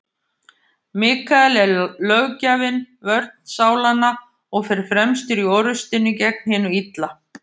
Mikael er löggjafinn, vörn sálanna, og fer fremstur í orrustunni gegn hinu illa.